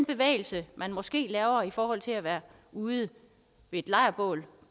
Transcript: bevægelse man måske laver i forhold til at være ude ved et lejrbål